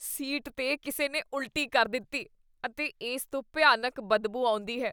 Seat 'ਤੇ ਕਿਸੇ ਨੇ ਉਲਟੀ ਕਰ ਦਿੱਤੀ ਅਤੇ ਇਸ ਤੋਂ ਭਿਆਨਕ ਬਦਬੂ ਆਉਂਦੀ ਹੈ।